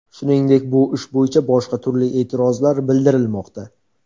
Shuningdek, bu ish bo‘yicha boshqa turli e’tirozlar bildirilmoqda.